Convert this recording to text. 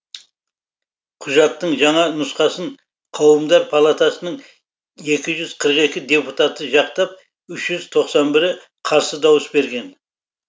құжаттың жаңа нұсқасын қауымдар палатасының екі жүз қырық екі депутаты жақтап үш жүз тоқсан бірі қарсы дауыс берген